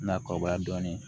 Na kɔrɔbaya dɔɔnin